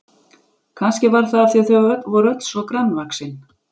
Kannski var það af því að þau voru öll svo grannvaxin.